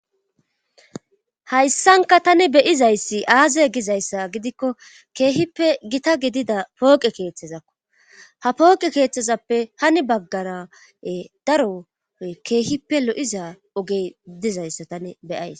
hayssanka tani beyizayssi aaze gizayssa gidikko keehippe gita gidida pooqe keeththezakko ha pooqe keeththezappe hani baggara daro keehippe lo7iza ogey dizayssa tani beyays